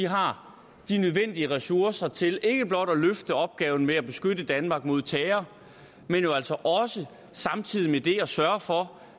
har de nødvendige ressourcer til ikke blot at løfte opgaven med at beskytte danmark mod terror men jo altså også samtidig med det at sørge for